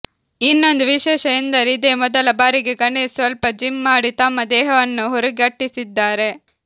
ಇನ್ನೊಂದು ವಿಶೇಷ ಎಂದರೆ ಇದೇ ಮೊದಲ ಬಾರಿಗೆ ಗಣೇಶ್ ಸ್ವಲ್ಪ ಜಿಮ್ ಮಾಡಿ ತಮ್ಮ ದೇಹವನ್ನು ಹುರಿಗಟ್ಟಿಸಿದ್ದಾರೆ